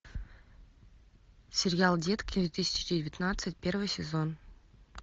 сериал детки две тысячи девятнадцать первый сезон